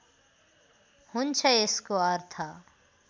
हुन्छ यसको अर्थ